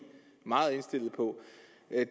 meget indstillet på